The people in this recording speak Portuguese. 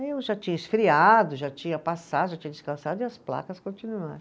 Aí eu já tinha esfriado, já tinha passado, já tinha descansado e as placas continuaram.